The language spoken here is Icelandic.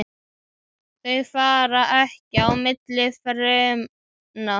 Þau fara ekki á milli frumna.